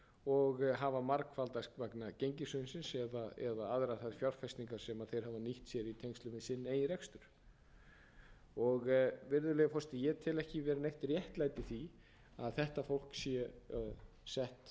og hafa margfaldast vegna gengishrunsins eða aðrar þær fjárfestingar sem þeir hafa nýtt sér í sambandi við sinn eigin rekstur virðulegi forseti ég tel ekki vera neitt réttlæti í því að þetta fólk sé sett á einhverja aðra